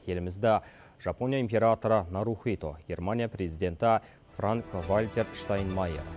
елімізді жапония императоры нарухито германия президенті франк вальтер штайнмайер